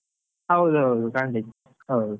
ಹೌದ್ ಹೌದು, ಖಂಡಿತ ಹೌದು.